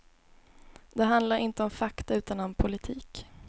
Det handlar inte om fakta utan om politik.